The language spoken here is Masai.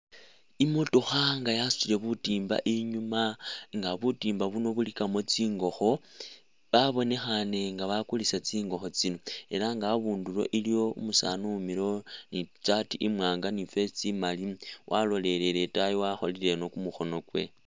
I'motokha nga yasutile butiimba inyuma nga butimba buno bulikamo tsingokho, babonekhaane nga bakulisa tsingokho tsino ela nga abundulo iliwo umusaani uwimilewo ni i'saati imwaanga ni i'vest imaali walolelele itaayi wakholile ino kumukhono kwe.